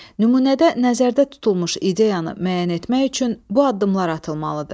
Nümunədə nəzərdə tutulmuş ideyanı müəyyən etmək üçün bu addımlar atılmalıdır.